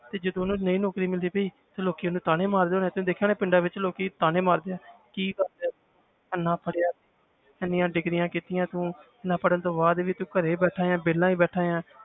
ਤੇ ਜਦੋਂ ਉਹਨੂੰ ਨਹੀਂ ਨੌਕਰੀ ਮਿਲਦੀ ਪਈ ਤੇ ਲੋਕੀ ਉਹਨੂੰ ਤਾਨੇ ਮਾਰਦੇ ਹੋਣੇ ਹੈ ਤੁਸੀਂ ਦੇਖਿਆ ਹੋਣਾ ਪਿੰਡਾਂ ਵਿੱਚ ਲੋਕੀ ਤਾਨੇ ਮਾਰਦੇ ਹੈ ਕੀ ਦੱਸ ਇੰਨਾ ਪੜ੍ਹਿਆ ਇੰਨੀਆਂ degrees ਕੀਤੀਆਂ ਤੂੰ ਇੰਨਾ ਪੜ੍ਹਨ ਤੋਂ ਬਾਅਦ ਵੀ ਤੂੰ ਘਰੇ ਬੈਠਾ ਹੈ ਵਿਹਲਾ ਬੈਠਾ ਹੈ